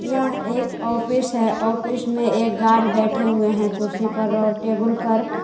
यह एक ऑफिस हे ऑफिस मे एक गार्ड बैठे हुई हे कुर्सी पर और टेबल पर.